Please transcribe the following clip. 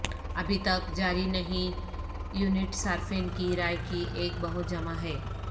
ابھی تک جاری نہیں یونٹ صارفین کی رائے کی ایک بہت جمع ہے